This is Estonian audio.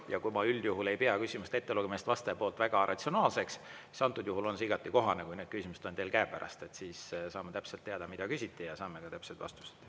Ja kui ma üldjuhul ei pea küsimuste ettelugemist vastaja poolt väga ratsionaalseks, siis antud juhul on see igati kohane, kui need küsimused on teil käepärast, siis saame täpselt teada, mida küsiti ja saame ka täpsed vastused.